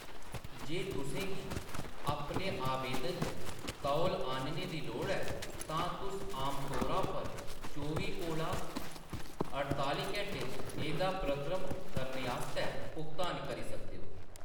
जे तुसें गी अपने आवेदन च तौल आह्‌‌‌नने दी लोड़ ऐ, तां तुस आमतौरा पर चौबी कोला अड़ताली घैंटे च एह्‌‌‌दा प्रक्रम करने आस्तै भुगतान करी सकदे ओ।